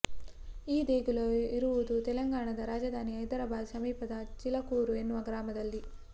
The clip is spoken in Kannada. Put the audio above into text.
ಈ ದೇಗುಲವು ಇರುವುದು ತೆಲಂಗಾಣದ ರಾಜಧಾನಿ ಹೈದರಾಬಾದ್ ಸಮೀಪದ ಚಿಲಕೂರು ಎನ್ನುವ ಗ್ರಾಮದಲ್ಲಿ